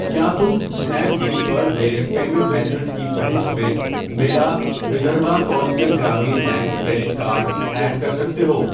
کیا تم Snapdeal پرمیرے پیمینٹ میتھڈز کی فہرست میں میرا Vidarbha Konkan Gramin bank credit card add کر سکتے ہو؟